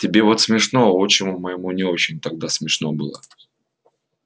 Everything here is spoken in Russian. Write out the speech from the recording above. тебе вот смешно а отчиму моему не очень тогда смешно было